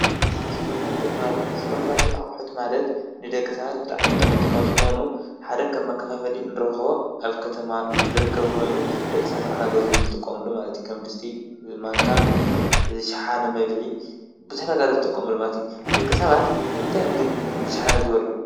ስፓርማርኬት አቅሑት ማለት ንደቂ ሰባት ብጣዕሚ ጠቀምቲ ካብ ዝኮኑ ሓደ ከም መከፋፈል ንረክቦ አብ ከተማ ዝርከብ ኮይኑ ደቂ ሰባት እናገዝኡ ዝጥቀምሉ ከም ድስቲ፣ ማንካ፣ ሸሓነ፣ መብልዒ ቡዝሕ ነገር ዝጥቀሙሉ ማለት እዩ። ደቂ ሰባት ንምንታይ ብሸሓነ ይበልዑ?